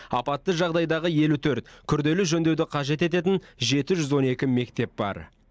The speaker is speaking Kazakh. апатты жағдайдағы елу төрт күрделі жөндеуді қажет ететін жеті жүз он екі мектеп бар